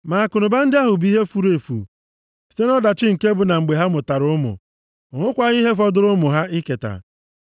ma akụnụba ndị ahụ bụ ihe furu site nʼọdachi nke bụ na mgbe ha mụtara ụmụ, o nwekwaghị ihe fọdụrụ ụmụ ahụ iketa.